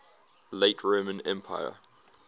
late roman empire